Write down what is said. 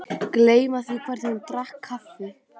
Gleyma því hvernig hún drakk kaffið.